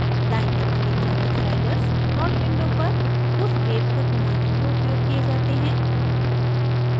दायीं तरफ के channel sliders plot window पर उस वेव को घुमाने में उपयोग किए जाते हैं